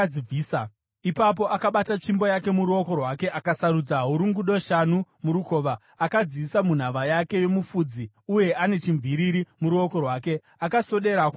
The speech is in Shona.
Ipapo akabata tsvimbo yake muruoko rwake, akasarudza hurungudo shanu murukova, akadziisa munhava yake yomufudzi, uye ane chimviriri muruoko rwake, akaswedera kumuFiristia.